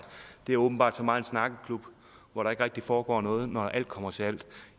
er åbenbart så meget en snakkeklub hvor der ikke rigtig foregår noget når alt kommer til alt